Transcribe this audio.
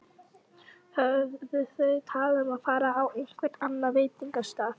Höfðu þau talað um að fara á einhvern annan veitingastað?